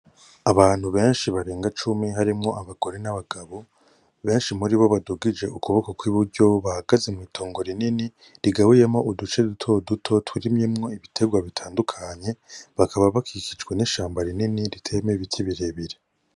Abantu benshi barenga cumi harimwo abagore n'abagabo, benshi muribo badugije ukuboko kw'iburyo bahagaze mw'itongo rinini rigabuyemwo uduce duto duto turimyemwo ibiterwa bitandukanye bakaba bakikijwe n'ishamba rinini riteyemwo ibiti birebire.